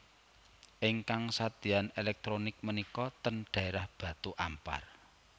Ingkang sadeyan elektronik menika ten daerah Batu Ampar